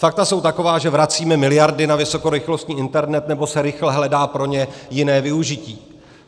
Fakta jsou taková, že vracíme miliardy na vysokorychlostní internet, nebo se rychle hledá pro ně jiné využití.